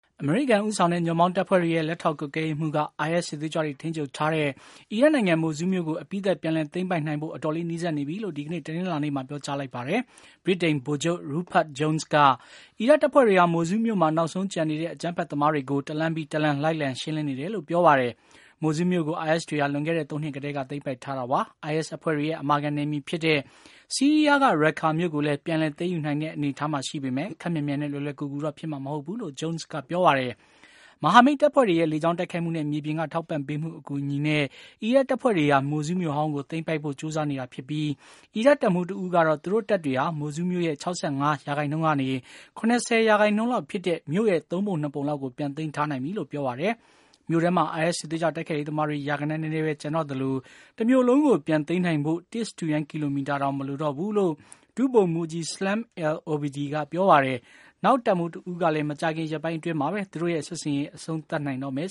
အမေရိကန်ဦးဆောင်တဲ့ ညွန့်ပေါင်းတပ်ဖွဲ့တွေရဲ့ လက်ထောက် ကွပ်ကဲရေးမှူးက IS စစ်သွေးကြွတွေ ထိန်းချုပ်ထားတဲ့ အီရတ်နိုင်ငံ မိုဆူးလ်မြို့ကို အပြီးသတ်ပြန်လည်သိမ်းပိုက်နိုင်ဖို့ အတော်လေး နီးစပ်နေပြီလို့ ဒီကနေ့ တနလာၤနေ့မှာ ပြောကြားလိုက်ပါတယ်။ ဗြိတိန်ဗိုလ်ချုပ် Rupert Jones က အီရတ်တပ်ဖွဲ့တွေဟာ မိုဆူးလ်မြို့မှာ နောက်ဆုံးကျန်နေတဲ့ အကြမ်းဖက်သမားတွေကို တလမ်းပြီးတလမ်း လိုက်လံ ရှင်းလင်းနေတယ်လို့ ပြောပါတယ်။ မိုဆူးလ်မြို့ကို IS တွေဟာ လွန်ခဲ့တဲ့ ၃ နှစ်ကတည်းက သိမ်းပိုက်ထားခဲ့တာပါ။ IS အဖွဲ့တွေရဲ့ အမာခံနယ်မြေဖြစ်တဲ့ ဆီးရီးယားက ရတ်ကာမြို့ကိုလည်း ပြန်လည်သိမ်းယူနိုင်မှာဖြစ်ပေမယ့် ခပ်မြန်မြန်နဲ့ လွယ်လွယ်ကူကူတော့ ဖြစ်မှာမဟုတ်ဘူးလို့ Jones က ပြောပါတယ်။ မဟာမိတ်တပ်ဖွဲ့တွေရဲ့ လေကြောင်း တိုက်ခိုက်မှုနဲ့ မြေပြင်က ထောက်ပံ့ပေးမှုအကူအညီနဲ့ အီရပ်တပ်ဖွဲ့တွေဟာ မိုဆူးလ်မြို့ဟောင်းကို သိမ်းပိုက်ဖို့ကြိုးစားနေတာဖြစ်ပြီး အီရတ်တပ်မှုးတဦးကတော့ သူတို့ တပ်တွေဟာ Mosul မြို့ရဲ့ ၆၅ ကနေ ၇၀ % လောက်ဖြစ်တဲ့ သုံးပုံ၂ ပုံ လောက်ကို ပြန်သိမ်းထားနိုင်ပြီလို့ ပြောပါတယ်။ မြို့ထဲမှာ အိုင်အက်စ် စစ်သွေးကြွ တိုက်ခိုက်ရေး သမားတွေ ရာဂဏန်း နည်းနည်းပဲ ကျန်တော့သလို တမြို့လုံးကို ပြန်သိမ်းနိုင်ဖို့ တစ် စတုရန်း ကီလိုမီတာတောင် မလိုတော့ဘူးလို့ ဒုဗိုလ်မှုးကြီး Salam al-Obeidi ကပြောပါတယ်။ နောက်တပ်မှူးတဦးကလည်း မကြာခင် ရက်ပိုင်းအတွင်း မှာပဲ သူတို့ရဲ့ စစ်ဆင်ရေး အဆုံးသတ်နိုင်တော့မယ်